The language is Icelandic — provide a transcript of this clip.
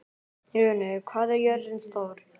Runi, hvað er jörðin stór?